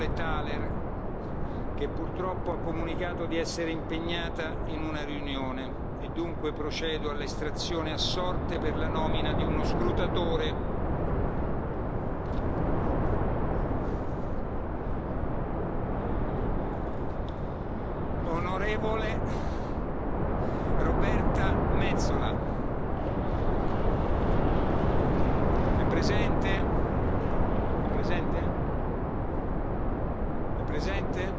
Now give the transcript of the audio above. Dobbiamo sostituire la scrutatrice on. Thaler, che purtroppo ha comunicato di essere impegnata in una riunione e dunque procedo all'estrazione a sorte per la nomina di uno scrutatore On. Roberta Metsola. È presente?